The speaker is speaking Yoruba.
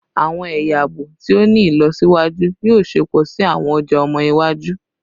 Awọn ẹya aabo ti o ni ilọsiwaju yoo ṣepọ si awọn ọja ọmọ iwaju